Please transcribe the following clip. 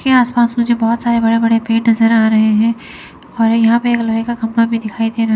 ये आस पास मुझे बहुत सारे बड़े बड़े पेड़ नजर आ रहे हैं और यहां पे एक लोहे का खंभा भी दिखाई दे रहा--